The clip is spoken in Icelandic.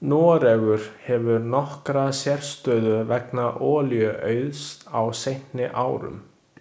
Noregur hefur nokkra sérstöðu vegna olíuauðs á seinni árum.